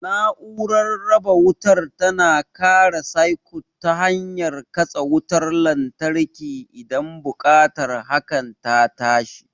Na'urar raba wutar tana kare sikut ta hanyar katse wutar lantarki idan buƙatar hakan ta tashi.